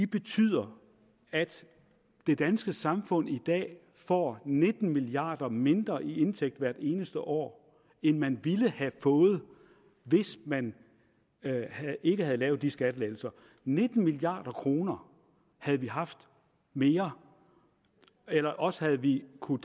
betyder at det danske samfund i dag får nitten milliard kroner mindre i indtægt hvert eneste år end man ville have fået hvis man ikke havde lavet de skattelettelser nitten milliard kroner havde vi haft mere eller også havde vi kunnet